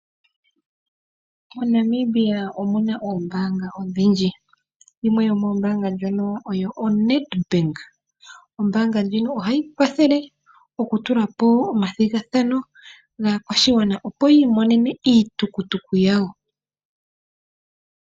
MoNamibia omuna oombaanga odhindji. Yimwe yomoombaanga ndhono oyo oNedbank. Ombaanga ndjino ohayi kwathele oku tula po omathigathano naakwashigwana, opo yi i monene iitukutuku yawo.